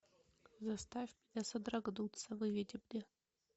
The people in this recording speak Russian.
заставь меня содрогнуться выведи мне